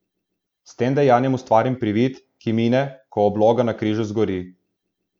S tem dejanjem ustvarim privid, ki mine, ko obloga na križu zgori.